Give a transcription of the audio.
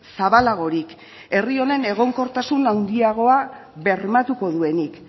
zabalagorik herri honen egonkortasun handiagoa bermatuko duenik